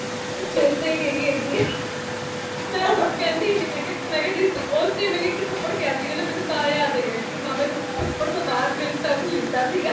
ਮੇਰੇ ਤੇ ਹੀ ਗਈ ਹੇਗੀ ਹੇ। ਮੈਂ ਹੁਣ ਕਹਿੰਦੀ ਹੀ ਨਹੀਂ ,ਮੇਕਯਾ ਜਿਸ ਚ ਉੱਚ ਮੇਨੂ ਇਕ ਥੱਪੜ ਪਿਆ ਸੀਗਾ ਮੇਨੂ ਤਾ ਯਾਦ ਹਗਾ , ਉਸ ਥੱਪੜ ਤੋਂ ਬਾਦ ਫਿਰ turn ਲਿੱਤਾ ਸੀਗਾ